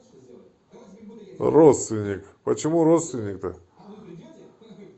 родственник почему родственник то